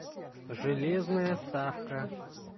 железная ставка